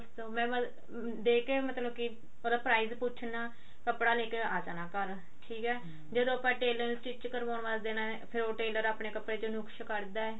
ਮੈਂ ਦੇਕੇ ਮਤਲਬ ਕੀ ਉਹਦਾ price ਪੁੱਛ੍ਣਾ ਕੱਪੜਾ ਲੈਕੇ ਆ ਜਾਣਾ ਘਰ ਠੀਕ ਹੈ ਜਦੋਂ ਆਪਾਂ tailor ਨੂੰ stitch ਕਰਵਾਉਣ ਵਾਸਤੇ ਦੇਣਾ ਹੈ ਫ਼ੇਰ ਉਹ tailor ਆਪਣੇ ਕੱਪੜੇ ਚੋਂ ਨੁਕਸ ਕੱਢਦਾ